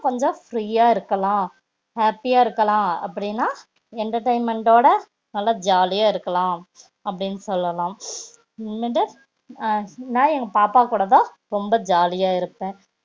நாம்பளும் கொஞ்சம் free இருக்கலாம் happy யா இருக்கலாம் அப்டினா entertainment ஓட நல்ல ஜாலி யா இருக்கலாம் அப்டின்னு சொல்லலாம் அப்டிமேட்டு நா எங்க பாப்பா கூடாதா நா ரொம்ப ஜாலி யா இருப்ப